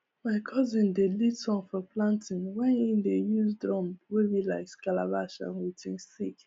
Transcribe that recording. my cousin dey lead song for planting wen e dey use drum wey be like calabash and with him stick